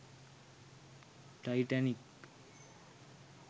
titanic